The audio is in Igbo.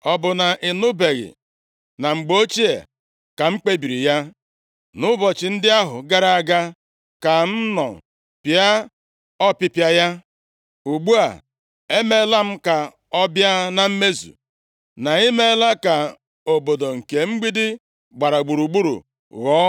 “ ‘Ọ bụ na ị nụbeghị? Na mgbe ochie ka m kpebiri ya. Nʼụbọchị ndị ahụ gara aga ka m nọ pịa ọpịpịa ya; ugbu a, emeela m ka ọ bịa na mmezu, na ị meela ka obodo nke mgbidi gbara gburugburu, ghọọ